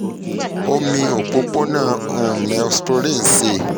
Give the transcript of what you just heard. omi opopona neosporin ṣee